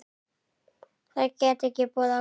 Það gat ekki boðað gott.